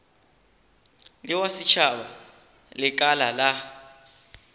le wa setšhaba lekala la